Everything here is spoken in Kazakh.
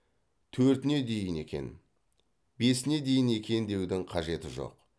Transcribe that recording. төртіне дейін екен бесіне дейін екен деудің қажеті жоқ